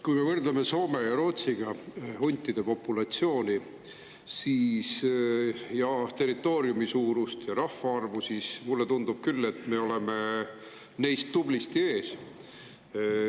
Kui me võrdleme enda huntide populatsiooni, territooriumi suurust ja rahvaarvu Soome ja Rootsiga, siis mulle tundub küll, et me oleme neist tublisti ees.